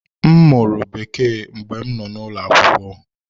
M mụrụ Bekee mgbe m nọ n’ụlọ akwụkwọ.